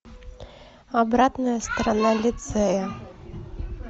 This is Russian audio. обратная сторона лицея